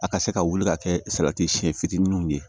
A ka se ka wuli ka kɛ salati siyɛn fitininw ye